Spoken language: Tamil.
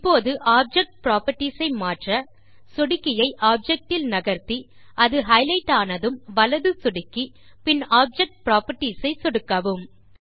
இப்போது ஆப்ஜெக்ட் புராப்பர்ட்டீஸ் ஐ மாற்ற சொடுக்கியை ஆப்ஜெக்ட் இல் நகர்த்தி அது ஹைலைட் ஆனதும் வலது சொடுக்கி பின் ஆப்ஜெக்ட் புராப்பர்ட்டீஸ் ஐ சொடுக்கவும்